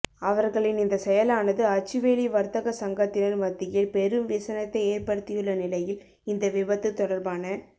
அவர்களின் இந்த செயலானது அச்சுவேலி வர்த்தக சங்கத்தினர் மத்தியில் பெரும் விசனத்தை ஏற்படுத்தியுள்ள நிலையில் இந்த விபத்து தொடர்பான